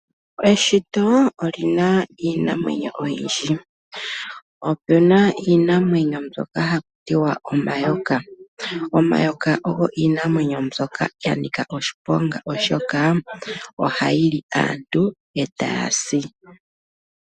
Eshito oli na iinamwenyo oyindji. Opu na iinamwenyo mbyoka hatu ti omayoma. Omayoka ogo iinamwenyo mbyoka ya nika oshiponga, oshoka ohayi li aantu e taya si.